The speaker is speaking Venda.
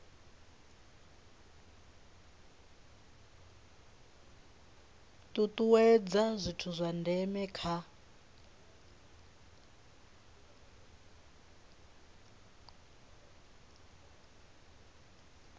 tutuwedza zwithu zwa ndeme kha